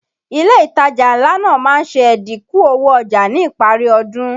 Ilé ìtajà ńlá náà má ń ṣe ẹ̀dínkù owó ọjà ní ìparí ọdún